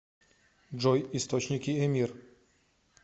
джой источники эмир